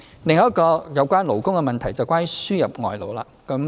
另一個有關勞工的議題是輸入外勞的問題。